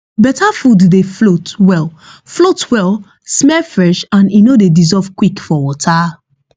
better food dey float well float well smell fresh and e no dey dissolve quick for water